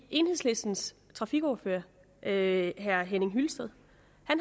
enhedslistens trafikordfører herre henning hyllested